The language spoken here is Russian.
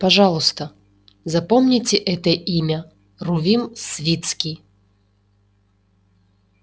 пожалуйста запомните это имя рувим свицкий